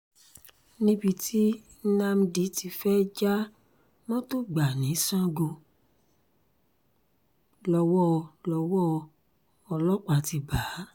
níbi tí nnamdi ti fẹ́ẹ̀ já mọ́tò gbà ni sango lowó lọ́wọ́ ọlọ́pàá ti bá a